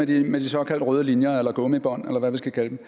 det her med de såkaldte røde linjer eller gummibånd eller hvad vi skal kalde dem